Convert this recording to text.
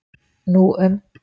Nú um